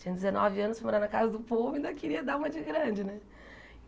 Tinha dezenove anos, morava na casa do povo e ainda queria dar uma de grande, né?